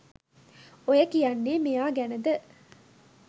ඔය කියන්නේ මෙයා ගැනද